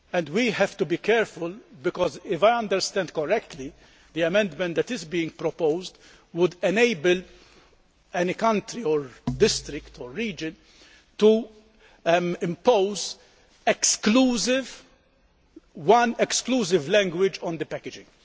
We have to be careful because, if I understand correctly, the amendment that is being proposed would enable any country or district or region to impose one exclusive language on the packaging.